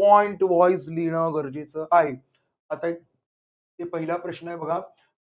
point wise लिहिण गरजेचे आहे. आता पहिला प्रश्न आहे बघा.